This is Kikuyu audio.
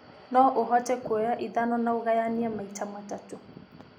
no ũhote kũoya ithano na ugaye maita matatũ